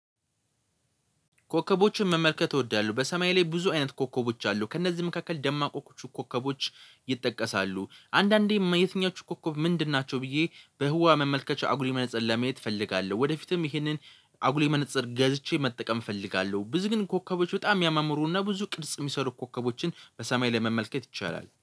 ኮከቦችን መመልከት እወዳለሁ። በሰማይ ላይ ብዙ አይነት ኮከቦች አሉ ከእነዚህ መካከል ደማቆቹ ኮከቦች። ይጠቀሳሉ አንዳንዴ የትኞቹ ኮከብ ምንድን ናቸው? ብዬ በህዋ መመልከቻ አጉሌ መነፀር ለመመየት እፈልጋለሁ። ወደፊትም ይህንን አጉሊ መነፀር ገዝቼ መጠቀም እፈልጋለሁ። ብዙ ግን ኮከቦች በጣም ያሚያማምሩና ብዙ ቅርጽ የሚሰሩ ኮከቦችን በሰማይ ላይ መመልከት ይቻላል